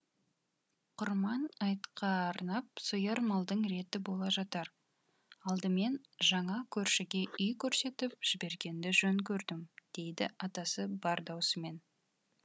құрман айтқа арнап сояр малдың реті бола жатар алдымен жаңа көршіге үй көрсетіп жібергенді жөн көрдім дейді атасы бар даусымен